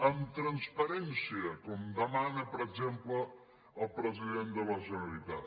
amb transparència com demana per exemple el president de la generalitat